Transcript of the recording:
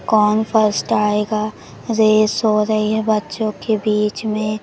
कौन फर्स्ट आएगा? रेस हो रही है बच्चों के बीच में।